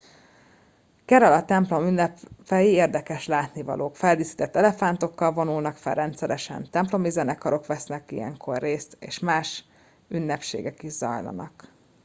kerala templomi ünnepei érdekes látnivalók feldíszített elefántokkal vonulnak fel rendszeresen templomi zenekarok vesznek ilyenkor részt és más ünnepségek is zajlanak